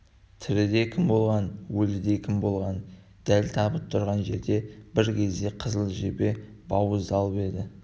тіріде кім болғанын өлгенде кім болғанын дәл табыт тұрған жерде бір кезде қызыл жебе бауыздалып еді